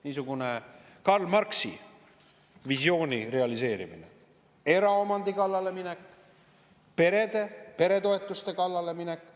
Niisugune Karl Marxi visiooni realiseerimine, eraomandi kallale minek, peretoetuste kallale minek.